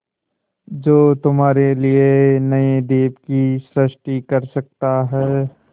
जो तुम्हारे लिए नए द्वीप की सृष्टि कर सकता है